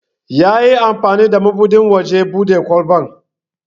Yayi amfani da mabudin wajen bude kwalban.